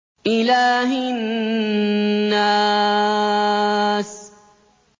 إِلَٰهِ النَّاسِ